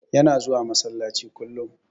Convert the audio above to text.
Yana zuwa masallaci kullum.